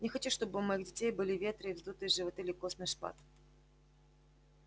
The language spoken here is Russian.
не хочу чтобы у моих детей были ветры и вздутые животы или костный шпат